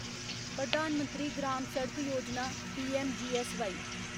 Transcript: Pradhan Mantri Gram Sadak Yojana PMGSY